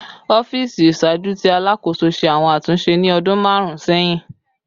Ọfiisi iṣaaju ti Alakoso ṣe awọn atunṣe ni ọdun marun sẹhin